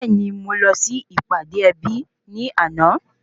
Bẹẹni, Mo lọ si ìpàdé ebi ni ana